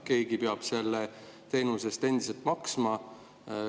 Keegi peab selle teenuse eest endiselt maksma.